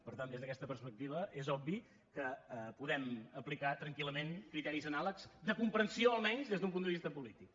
per tant des d’aquesta perspectiva és obvi que podem aplicar tranquil·lament criteris anàlegs de comprensió almenys des d’un punt de vista polític